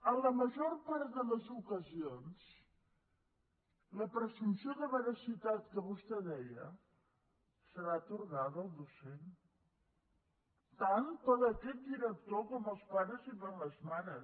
en la major part de les ocasions la presumpció de veracitat que vostè deia serà atorgada al docent tant per aquest director com els pares i les mares